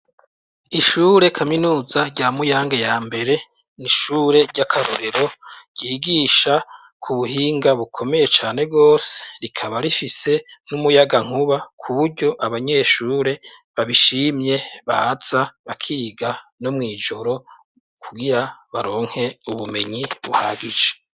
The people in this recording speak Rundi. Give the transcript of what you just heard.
Ishure kaminuza rya Muyange ya mbere, ni ishure ry'akarorero ryigisha Ku buhinga bukomeye cane rwose, rikaba rifise n'umuyagankuba kuburyo abanyeshure babishimye baza bakiga no mw'ijoro kugira baronke ubumenyi buhagije.